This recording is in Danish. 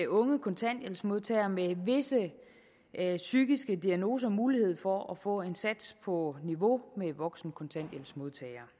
unge kontanthjælpsmodtagere med visse psykiske diagnoser mulighed for at få en sats på niveau med voksne kontanthjælpsmodtagere